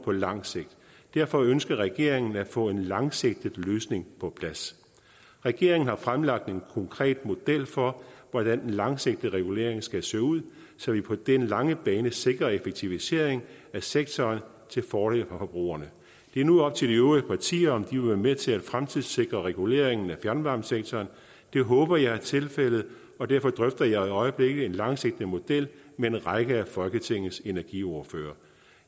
på lang sigt derfor ønsker regeringen at få en langsigtet løsning på plads regeringen har fremlagt en konkret model for hvordan den langsigtede regulering skal se ud så vi på den lange bane sikrer en effektivisering af sektoren til fordel for forbrugerne det er nu op til de øvrige partier om de vil være med til at fremtidssikre reguleringen af fjernvarmesektoren det håber jeg er tilfældet og derfor drøfter jeg i øjeblikket en langsigtet model med en række af folketingets energiordførere